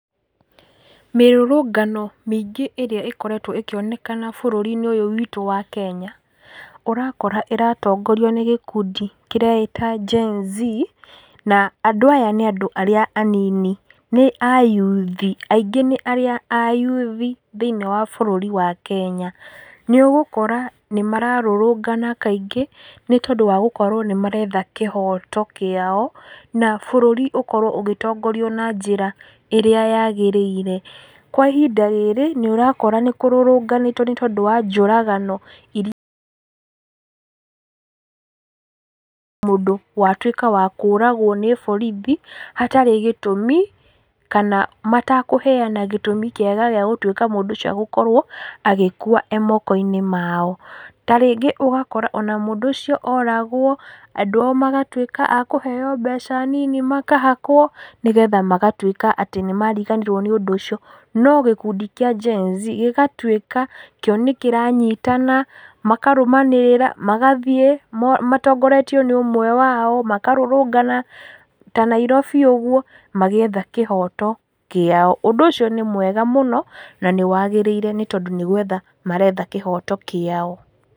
Mĩrũrũngano mĩingĩ ĩrĩa ĩkoretwo ĩkĩonekana bũrũri-inĩ ũyũ witũ wa kenya, ũrakora ĩratongorio nĩ gĩkundi kĩreĩta GenZ, na andũ aya nĩ andũ arĩa anini, nĩ ayuthi, aingĩ nĩ arĩa ayuthi thĩiniĩ wa bũrũri wa kenya, nĩũgũkora nĩmararũrũngana kaingĩ, nĩ tondũ wa gũkorwo nĩmaretha kĩhoto kĩao, na bũrũri ũkorwo ũgĩtongorio na njĩra ĩrĩa yagĩrĩire, kwa ihinda rĩrĩ, nĩũrakora nĩkũrũrũnganĩtwo, nĩ tondũ wa njũragano i mũndũ watuĩka wa kũragwo nĩ borithi, hatarĩ gĩtũmi, kana matekũheana gĩtũmi kĩega gĩa gũtuĩka mũndũ ũcio agĩkorwo agĩkua e moko-inĩ mao, ta rĩngĩ ona mũndũ ũcio oragwo, andũ ao magatuĩka a kũheo mbeca nini makahakwo, nĩgetha magatuĩka atĩ nĩmariganĩrwo nĩ ũndũ ũcio, no gĩkundi kĩa GenZ gĩgatuĩka, kĩo nĩkĩranyitana, makarũmanĩrĩra, magathiĩ, mo matongoretio nĩ ũmwe wao, makarũrũngana, ta Nairobi ũguo, magĩetha kĩhoto kĩao, ũndũ ũcio nĩ mwega mũno, na nĩwagĩrĩire, nĩ tondũ nĩ gwetha maretha kĩhoto kĩao.